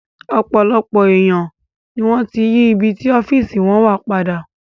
Ọ̀pọ̀lọpọ̀ èèyàn ni wọ́n ti yí ibi tí ọ́fíìsì wọn wà padà